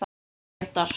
Jón Grétar.